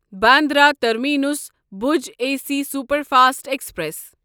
Bandra terminus Bhuj AC سی express express